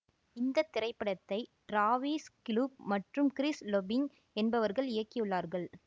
இந்த திரைப்படத்தை Travis Cluff மற்றும் கிறிஸ் லொபிங் என்பவர்கள் இயக்கியுள்ளார்கள்